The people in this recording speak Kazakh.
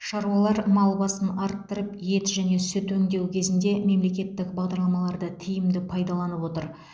шаруалар мал басын арттырып ет және сүт өңдеу кезінде мемлекеттік бағдарламаларды тиімді пайдаланып отыр